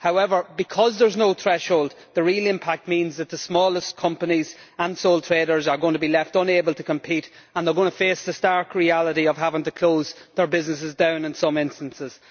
However, because there is no threshold, the real impact is that the smallest companies and sole traders are going to be left unable to compete and they are going to face the stark reality of having to close their businesses down in some instances.